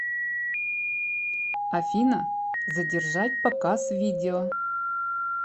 афина задержать показ видео